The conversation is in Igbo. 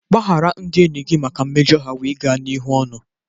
Gbaghara ndị enyi gị maka mmejọ ha wee gaa n'ihu ọnụ.